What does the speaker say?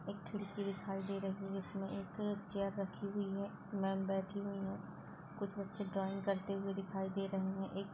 एक खिड़की दिखाई दे रही है जिसमें एक चेयर रखी हुई है। मैंम बैठी हुई है। कुछ बच्चे ड्राइंग करते हुए दिखाई दे रहे हैं। एक --